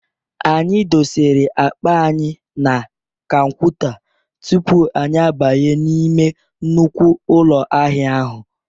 Anyị dosere akpa anyị na kanwuta tupu anyị abanye n'ime nnukwu ụlọ ahịa ahụ.